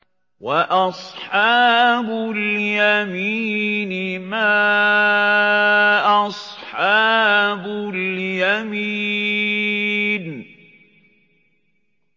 وَأَصْحَابُ الْيَمِينِ مَا أَصْحَابُ الْيَمِينِ